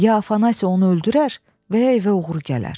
Ya Afanasi onu öldürər və ya evə oğru gələr.